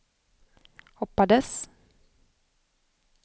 hoppades